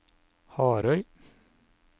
Harøy